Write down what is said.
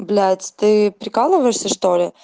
блять ты прикалываешься что ли